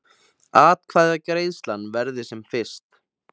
Atkvæðagreiðslan verði sem fyrst